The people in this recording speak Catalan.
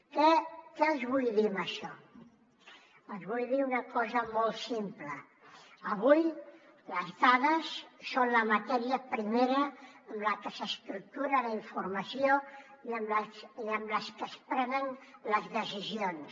què els vull dir amb això els vull dir una cosa molt simple avui les dades són la matèria primera amb la que s’estructura la informació i amb la que es prenen les decisions